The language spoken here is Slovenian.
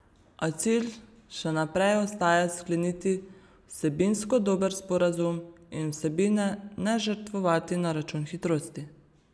A cilj še naprej ostaja skleniti vsebinsko dober sporazum in vsebine ne žrtvovati na račun hitrosti.